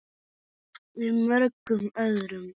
Og mörgum öðrum.